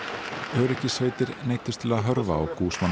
öryggissveitir neyddust til að hörfa og